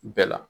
Bɛɛ la